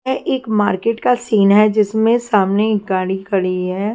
यह एक मार्केट का सीन है जिसमें सामने एक गाड़ी खड़ी है।